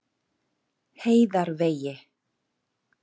Heiðarvegi